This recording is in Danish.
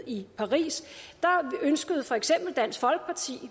i paris ønskede for eksempel dansk folkeparti